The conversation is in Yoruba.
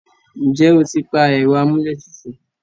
ǹjẹ́ o ti pa ẹ̀rọ amúlé tutù?